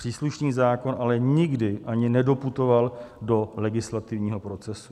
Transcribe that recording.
Příslušný zákon ale nikdy ani nedoputoval do legislativního procesu.